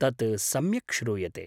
तत् सम्यक् श्रूयते।